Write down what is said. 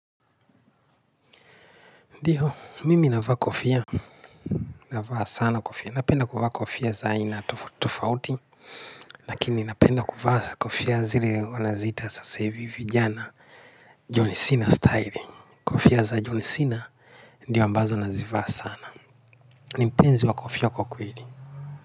Ndiyo, mimi navaa kofia, navaa sana kofia, napenda kuvaa kofia za aina tofauti tofauti, lakini napenda kuvaa kofia zile wanaziita sasa hivi vijana, John Sina styling, kofia za John Sina, ndio ambazo nazivaa sana, nimpenzi wa kofia kwa kweli.